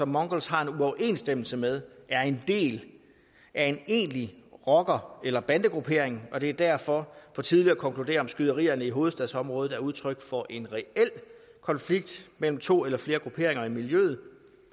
mongols har en uoverensstemmelse med er en del af en egentlig rocker eller bandegruppering og det er derfor for tidligt at konkludere om skyderierne i hovedstadsområdet er udtryk for en reel konflikt mellem to eller flere grupperinger i miljøet